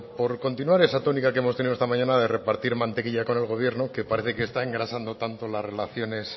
por continuar esa tónica que hemos tenido esta mañana de repartir mantequilla con el gobierno que parece que está engrasando tanto las relaciones